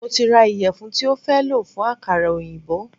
Mo ti ra ìyẹ̀fun tí o fẹ́ lò fún àkàrà oyinbo.